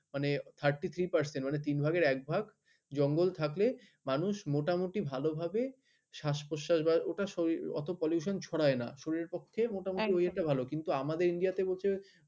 মানে thirty three percent মানে তিন ভাগের এক ভাগ জঙ্গল থাকলে মানুষ মোটামুটি ভালভাবে শ্বাস প্রশ্বাস ওটা অত ভাবে pollution ছড়ায় না মোটামুটি কিন্তু আমাদের ইন্ডিয়া তে হচ্ছে